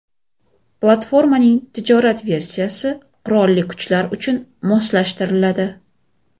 Platformaning tijorat versiyasi qurolli kuchlar uchun moslashtiriladi.